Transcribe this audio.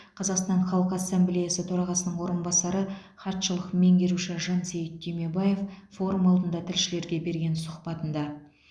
қазақстан халқы ассамблеясы төрағасының орынбасары хатшылық меңгеруші жансейіт түймебаев форум алдында тілшілерге берген сұхбатында